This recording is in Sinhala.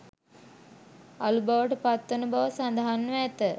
අළු බවට පත්වන බව සඳහන්ව ඇත